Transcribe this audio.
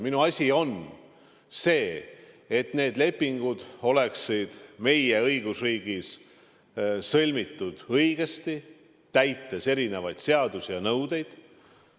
Minu asi on teada, et need lepingud oleksid meie õigusriigis sõlmitud õigesti, täites erinevaid seadusi ja nõudeid.